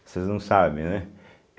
Vocês não sabem, né?